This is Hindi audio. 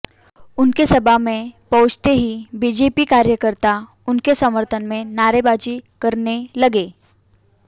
उनके सभा में पहुंचते ही बीजेपी कार्यकर्ता उनके समर्थन में नारेबाजी करने लगे